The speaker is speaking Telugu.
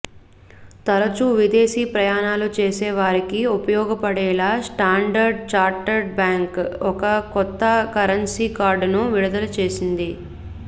తరచూ విదేశీ ప్రయాణాలు చేసే వారికి ఉపయోగపడేలా స్టాండర్డ్ ఛార్టర్డ్ బ్యాంకు ఒక కొత్త కరెన్సీ కార్డును విడుదల చేసింది